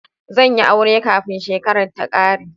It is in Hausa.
Zan yi aure kafin shekarar ta ƙare